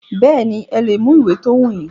Bẹ́ẹ̀nì, ẹ lè mú ìwé ti o wù yín.